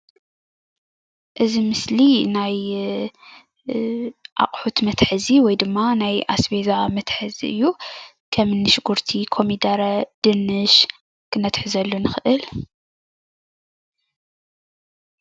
እዚ ምስሊ ናይ ኣቕሑት መትሓዚ ወይ ድማ ናይ ኣስቤዛ መትሓዚ እዩ ከምን ሽጉርቲ ኮሚደረ ድንሽ ክነትሕዘሉ ንኽእል።